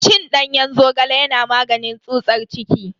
Cin danyen zogale yana maganin tsutsar ciki.